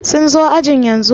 sun zo ajin yanzu?